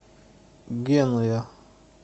генуя